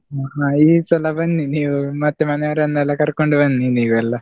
ಹಾ ಹಾ ಈ ಸಲ ಬನ್ನಿ ನೀವು, ಮತ್ತೆ ಮನೆಯವರನ್ನೆಲ್ಲಾ ಕರ್ಕೊಂಡು ಬನ್ನಿ ನೀವೆಲ್ಲ?